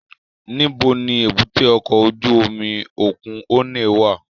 Nibo ni èbúté ọkọ ojú omi okun Onne wa?